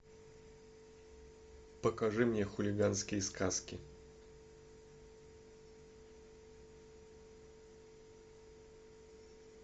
покажи мне хулиганские сказки